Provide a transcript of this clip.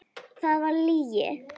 Það var lygi.